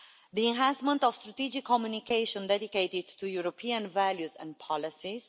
the enhancement of strategic communication dedicated to European values and policies